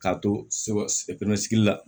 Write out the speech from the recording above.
K'a to sɛ pesike la